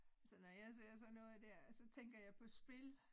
Altså når jeg ser sådan noget dér så tænker jeg på spil